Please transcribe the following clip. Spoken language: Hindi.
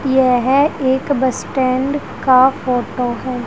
यह एक बस स्टैंड का फोटो है।